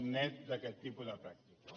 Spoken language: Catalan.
net d’aquest tipus de pràctiques